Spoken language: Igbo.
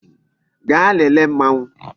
Gaa lele Mmanwu